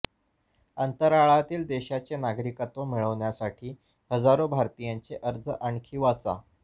अंतराळातील देशाचे नागरिकत्व मिळवण्यासाठी हजारो भारतीयांचे अर्ज आणखी वाचा